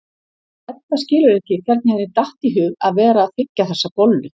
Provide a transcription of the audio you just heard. Edda skilur ekki hvernig henni datt í hug að vera að þiggja þessa bollu.